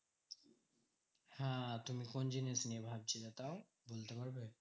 হ্যাঁ তুমি কোন জিনিস নিয়ে ভাবছিলে তাও বলতে পারবে?